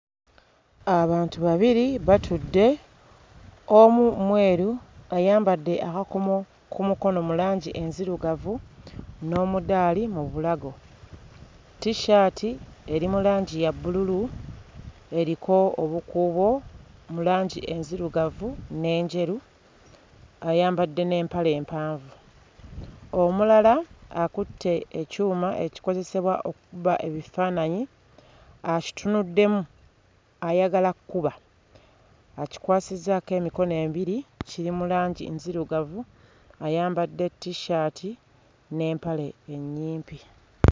Abantu babiri batudde, omu mweru ayambadde akakomo ku mukono mu langi enzirugavu n'omudaali mu bulago, t-shirt eri mu langi ya bbululu eriko obukuubo mu langi enzirugavu n'enjeru ayambadde n'empale empanvu. Omulala akutte ekyuma ekikozesebwa okukuba ebifaananyi akitunuddemu ayagala kuba, akikwasizzaako emikono ebiri kiri mu langi nzirugavu ayambadde t-shirt n'empale ennyimpi.